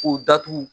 K'u datugu